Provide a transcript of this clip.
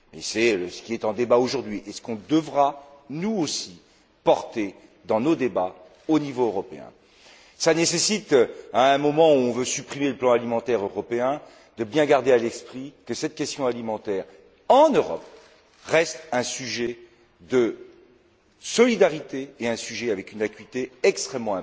C'est ce qui est en débat aujourd'hui et ce que nous devrons, nous aussi, porter dans nos débats au niveau européen. Cela nécessite, à un moment où on veut supprimer le plan alimentaire européen, de bien garder à l'esprit que cette question alimentaire, en Europe, reste un sujet de solidarité et un sujet d'une acuité extrême